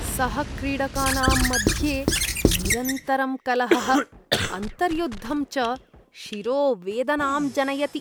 सहक्रीडकानां मध्ये निरन्तरं कलहः, अन्तर्युद्धं च शिरोवेदनां जनयति।